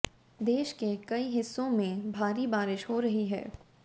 देश के कई हिस्सों में भारी बारिश हो रही है